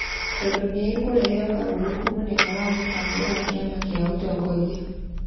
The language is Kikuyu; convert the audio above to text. tondũ nĩ ĩkorehe ũgarũrũku mũnene wa mũbango wa kĩama kĩa ũtongoria ,